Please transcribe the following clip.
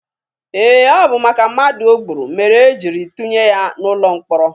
Ee, ọ bụ maka mmadụ o gburu mere e jiri tụnye ya n'ụlọ mkpọrọ.